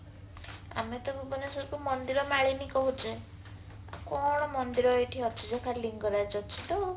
ଆମେ ତ ଭୁବନେଶ୍ବର କୁ ମନ୍ଦିରମାଳିନୀ କହୁଛେ କଣ ମନ୍ଦିର ଏଠି ଅଛି ଯେ ଖାଲି ଲିଙ୍ଗରାଜ ଅଛି ତଉ